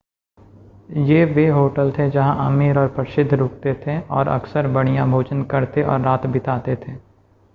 ये वे होटल थे जहां अमीर और प्रसिद्ध रुकते थे और अक्सर बढ़िया भोजन करते और रात बिताते थे